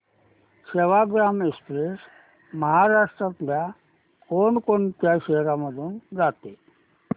Sevagram express महाराष्ट्रातल्या कोण कोणत्या शहरांमधून जाते